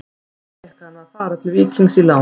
Því fékk hann að fara til Víkings á láni.